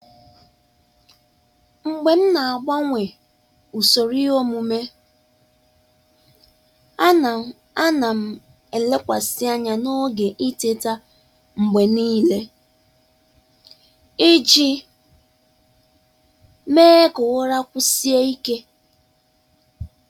Mgbe m na-agbanwe usoro iheomume, um a na a na m elekwasị anya n'oge ị teta mgbe niile um iji um mee ka ụra kwụsie ike.